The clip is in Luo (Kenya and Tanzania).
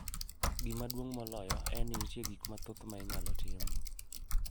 Gima duong’ moloyo en ni nitie gik mathoth ma inyalo tim